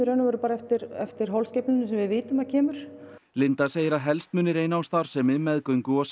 eftir eftir holskeflunni sem við vitum að kemur segir að helst muni reyna á starfsemi meðgöngu og